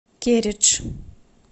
кередж